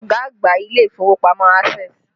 Ta ni ọ̀gá àgbà ilé ìfowópamọ́ Access?